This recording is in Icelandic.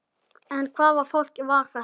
En hvaða fólk var þetta?